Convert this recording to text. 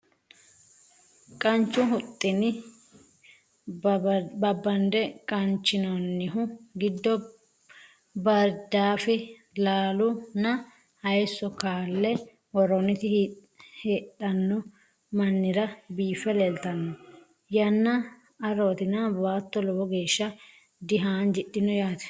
Qanchu huxxunni babande qanchinoonihu giddo baaridaaffe, lallu nna hayiisso kalle woroonnitti hidhaanno manira biiffe leelittanno. Yanna aroottinna baatto lowo geeshsha di haanjidhinno yaatte